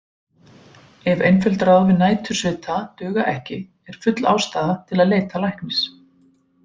Ef einföld ráð við nætursvita duga ekki er full ástæða til að leita læknis.